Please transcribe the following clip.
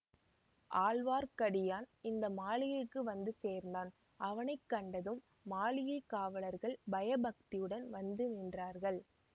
ஆழ்வார்க்கடியான் இந்த மாளிகைக்கு வந்து சேர்ந்தான் அவனை கண்டதும் மாளிகை காவலர்கள் பயபக்தியுடன் வந்து நின்றார்கள்